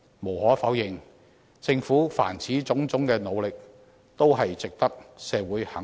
無可否認，政府凡此種種的努力，均值得社會肯定。